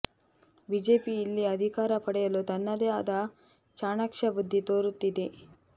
BJP ಇಲ್ಲಿ ಅಧಿಕಾರ ಪಡೆಯಲು ತನ್ನದೇ ಆದ ಚಾಣಾಕ್ಷ ಬುದ್ಧಿ ತೋರುತ್ತಿದೆ